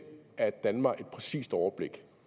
at danne mig et præcist overblik